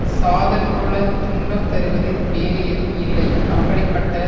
சாதல் போல துன்பம் தருவது வேறு எதுவும் இல்லை அப்படிப்பட்ட